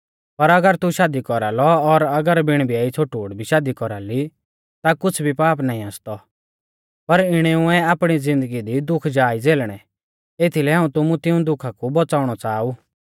पर अगर तू शादी कौरालौ और अगर बिण ब्याई छ़ोटूड़ भी शादी कौरा ली ता कुछ़ भी पाप नाईं आसतौ पर इणेउऐ आपणी ज़िन्दगी दी दुख जा ई झेलणै एथीलै हाऊं तुमु तिऊं दुखा कु बौच़ाउणौ च़ाहा ऊ